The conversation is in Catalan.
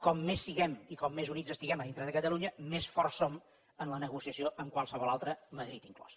com més siguem i com més units estiguem a dintre de catalunya més forts som en la negociació amb qualsevol altre madrid inclòs